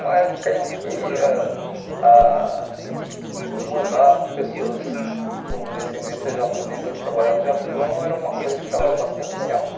uma época em que ãh ah mandar pessoas com descendência japonesa trabalhar no Japão era uma coisa que estava bastante em alta.